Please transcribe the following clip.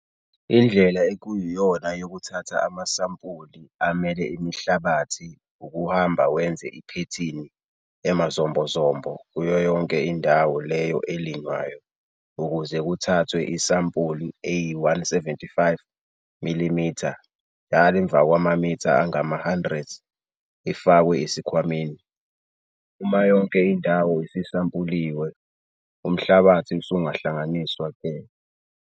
Indlela ekuyiyona yokuthatha amasampuli amele imihlabathi ukuhamba wenza iphethini emazombozombo kuyo yonke indawo leyo elinywayo ukuze kuthathwe isampuli eyi-175 mm njalo emvakwamamitha angama-100 ifakwe esikhwameni. Uma yonke indawo isisampuliwe, umhlabathi usungahlanganiswa-ke.